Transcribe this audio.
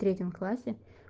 в третьем классе